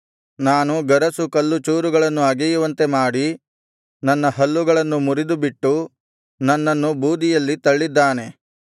ನಾನು ಗರಸು ಕಲ್ಲುಚೂರುಗಳನ್ನು ಅಗೆಯುವಂತೆ ಮಾಡಿ ನನ್ನ ಹಲ್ಲುಗಳನ್ನು ಮುರಿದುಬಿಟ್ಟು ನನ್ನನ್ನು ಬೂದಿಯಲ್ಲಿ ತಳ್ಳಿದ್ದಾನೆ